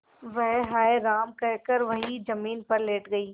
वह हाय राम कहकर वहीं जमीन पर लेट गई